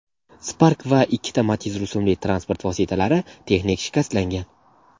Spark va ikkita Matiz rusumli transport vositalari texnik shikastlangan.